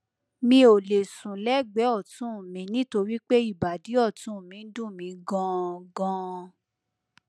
mi ò lè sùn lẹgbẹẹ ọtún mi nítorí pé ìbàdí ọtún mi ń dùn mí ganan ganan